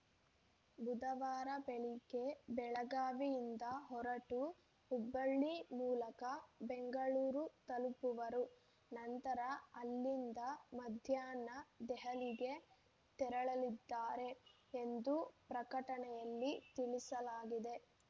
ಬುಧವಾರ ಬೆಳಗ್ಗೆ ಬೆಳಗಾವಿಯಿಂದ ಹೊರಟು ಹುಬ್ಬಳ್ಳಿ ಮೂಲಕ ಬೆಂಗಳೂರು ತಲುಪುವರು ನಂತರ ಅಲ್ಲಿಂದ ಮಧ್ಯಾಹ್ನ ದೆಹಲಿಗೆ ತೆರಳಲಿದ್ದಾರೆ ಎಂದು ಪ್ರಕಟಣೆಯಲ್ಲಿ ತಿಳಿಸಲಾಗಿದೆ